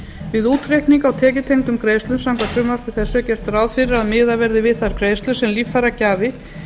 við útreikning á tekjutengdum greiðslum samkvæmt frumvarpi þessu er gert ráð fyrir að miðað verði við þær greiðslur sem líffæragjafi